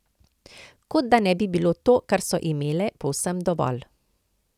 Kot da ne bi bilo to, kar so imele, povsem dovolj.